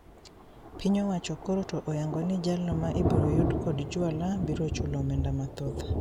Piny owacho koro to oyango ni jalno ma ibiro yudi kod juala biro chulo omenda mathoth